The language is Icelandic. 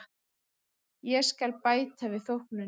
Ég skal bæta við þóknunina.